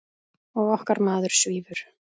Og okkar maður svífur.